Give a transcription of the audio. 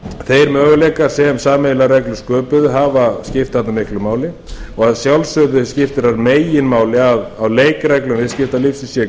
þeir möguleikar sem sameiginlegar reglur sköpuðu hafa skipt þarna miklu máli og að sjálfsögðu skiptir þar meginmáli að á leikreglum viðskiptalífsins sé